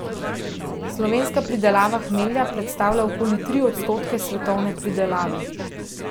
Slovenska pridelava hmelja predstavlja okoli tri odstotke svetovne pridelave.